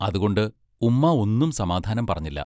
അതുകൊണ്ട് ഉമ്മാ ഒന്നും സമാധാനം പറഞ്ഞില്ല.